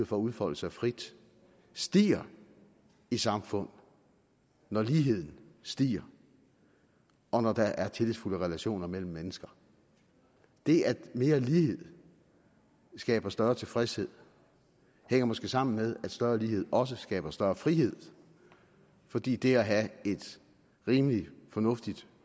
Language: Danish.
for at udfolde sig frit stiger i samfund når ligheden stiger og når der er tillidsfulde relationer mellem mennesker det at mere lighed skaber større tilfredshed hænger måske sammen med at større lighed også skaber større frihed fordi det at have et rimelig fornuftigt